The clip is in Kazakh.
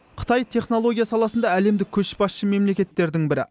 қытай технология саласында әлемдік көшбасшы мемлекеттердің бірі